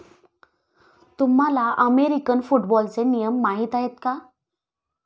तुम्हाला अमेरिकन फुटबॉलचे नियम माहीत आहेत का?